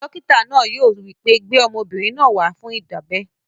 Dókítà náà yóò wí pé, "gbé ọmọbìnrin náà wá fún ìdábẹ́!"